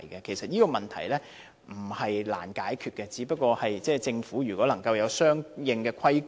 其實，這些問題並非難以解決，政府只要有相應規管。